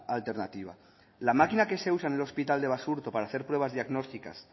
alternativa la máquina que se usa en el hospital de basurto para hacer pruebas diagnósticas